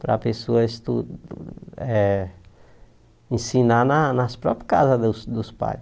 Para a pessoa estu eh ensinar na nas próprias casas dos dos pais.